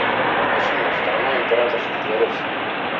афина страна императорский дворец